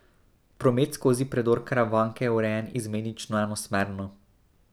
Promet skozi predor Karavanke je urejen izmenično enosmerno.